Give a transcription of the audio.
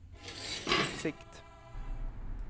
sikt